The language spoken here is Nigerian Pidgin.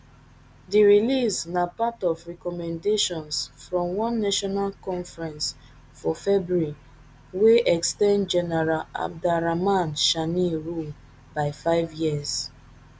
di release na na part of recommendations from one national conference for february wey ex ten d general abdourahamane tchiani rule by five years